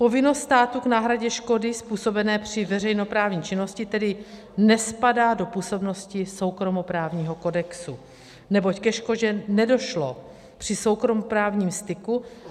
Povinnost státu k náhradě škody způsobené při veřejnoprávní činnosti tedy nespadá do působnosti soukromoprávního kodexu, neboť ke škodě nedošlo při soukromoprávním styku.